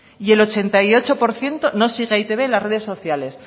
y el ochenta y ocho por ciento no sigue a e i te be en las redes sociales